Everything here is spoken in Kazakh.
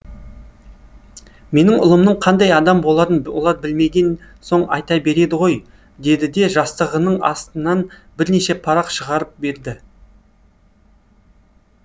менің ұлымның қандай адам боларын олар білмеген соң айта береді ғой деді де жастығының астынан бірнеше парақ шығарып берді